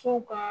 Fo ka